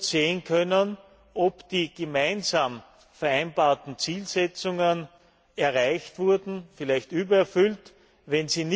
sehen können, ob die gemeinsam vereinbarten Zielsetzungen erreicht oder vielleicht sogar übererfüllt wurden.